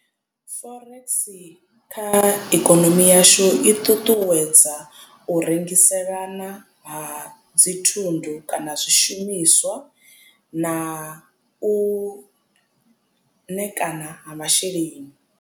Forex kha ikonomi yashu i ṱuṱuwedza u rengiselana ha dzi thundu kana zwishumiswa na u ṋekana ha masheleni.